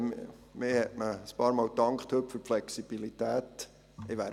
Man hat sich heute bei mir ein paarmal für die Flexibilität bedankt.